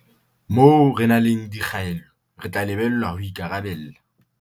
Moo re nang le dikgaello, re tla lebellwa ho ikarabella